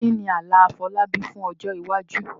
Kí ni àlá Afolábí fún ọjọ́ iwájú?